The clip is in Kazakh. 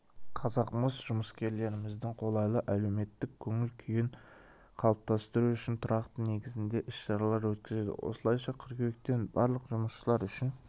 қазақмыс жұмыскерлеріміздің қолайлы әлеуметтік көңіл-күйін қалыптастыру үшін тұрақты негізде іс-шаралар өткізеді осылайша қыркүйектен барлық жұмысшылар үшін